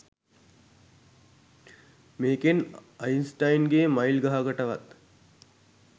මේකෙන් අයින්ස්ටයින්ගේ මයිල් ගහකටවත්